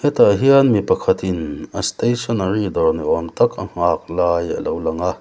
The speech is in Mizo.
hetah hian mi pakhatin a stationary dawr ni awmtak a nghak lai alo lang a.